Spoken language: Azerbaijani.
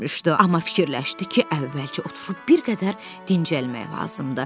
Amma fikirləşdi ki, əvvəlcə oturub bir qədər dincəlmək lazımdır.